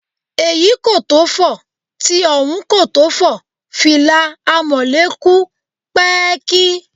Èyí kò tó fò, ti ọ̀hún kò tó fò, fìlà Amọ̀lé kù pẹ́ẹ́kí